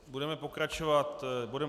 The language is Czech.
Budeme pokračovat bodem